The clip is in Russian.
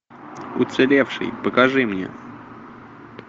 уцелевший покажи мне